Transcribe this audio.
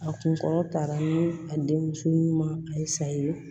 A kun kɔrɔta ni a denmuso ɲuman a ye sa ye